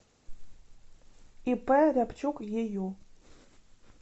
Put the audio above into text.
ип рябчук ею